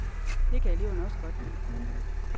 Det kan eleverne også godt lide.